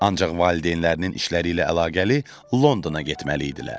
Ancaq valideynlərinin işləri ilə əlaqəli Londona getməli idilər.